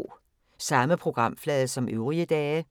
Samme programflade som øvrige dage